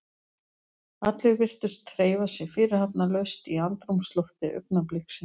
Allir virtust hreyfa sig fyrirhafnarlaust í andrúmslofti augnabliksins.